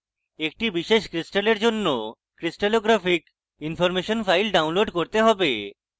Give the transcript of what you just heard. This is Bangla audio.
একটি বিশেষ crystal জন্য crystallographic information file download করতে হবে